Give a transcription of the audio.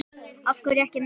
Af hverju ekki Messi?